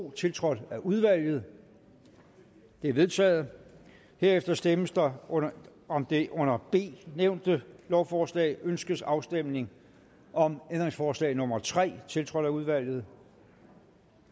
to tiltrådt af udvalget det er vedtaget herefter stemmes der om det under b nævnte lovforslag ønskes afstemning om ændringsforslag nummer tre tiltrådt af udvalget